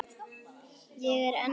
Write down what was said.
Ég er enn að læra.